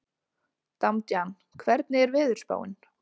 Damjan, hvernig er veðurspáin?